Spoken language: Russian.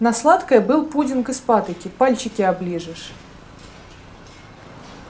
на сладкое был пудинг из патоки пальчики оближешь